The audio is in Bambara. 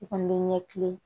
I kɔni bɛ ɲɛkili